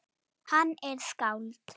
Hann er skáld.